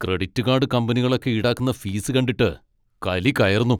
Credit card കമ്പനികളൊക്കെ ഈടാക്കുന്ന fees കണ്ടിട്ട് കലി കയറുന്നു.